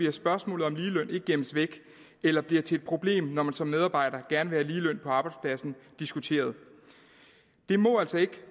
at spørgsmålet om ligeløn ikke gemmes væk eller bliver til et problem når man som medarbejder gerne vil have ligeløn på arbejdspladsen diskuteret det må altså ikke